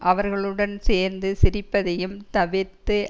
அவர்களுடன் சேர்ந்து சிரிப்பதையும் தவிர்த்து